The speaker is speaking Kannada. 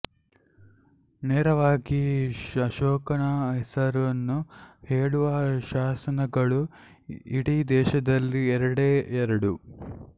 ನೇರವಾಗಿ ಅಶೋಕನ ಹೆಸರನ್ನು ಹೇಳುವ ಶಾಸನಗಳು ಇಡೀ ದೇಶದಲ್ಲಿ ಎರಡೇ ಎರಡು